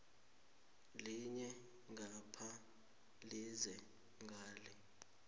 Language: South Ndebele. linye ngapha lilize ngale